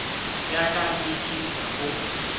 ya ka ke tiišetša go